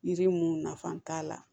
Yiri mun nafa t'a la